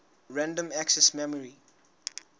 random access memory